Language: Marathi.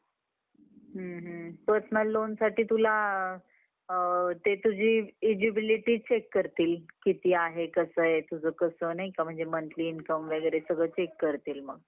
हम्म. हम्म. personal loanसाठी तुला अ ते तुझी eligibility check करतील. किती आहे कसं आहे? तुझं कसं नाही का म्हणजे monthly income वगैरे सगळं check करतील मग.